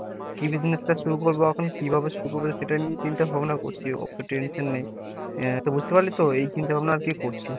কি business টা শুরু করবো এখন, কি ভাবে শুরু করবো সেটাই চিন্তা ভাবনা করছি, আরকি tension নেই আহ তো বুঝতে পারলি তো এই চিন্তা ভাবনা আরকি করছি।